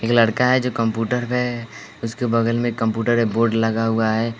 एक लड़का है जो कंप्यूटर में उसके बगल में कंप्यूटर के बोर्ड लगा हुआ है।